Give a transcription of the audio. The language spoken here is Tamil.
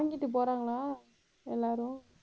வாங்கிட்டு போறாங்களா எல்லாரும்